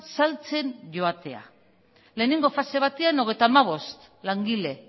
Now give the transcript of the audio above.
saltzen joatea lehenengo fase batean hogeita hamabost langile